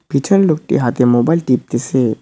পিছনের লোকটি হাতে মোবাইল টিপতেসে।